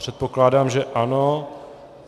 Předpokládám, že ano.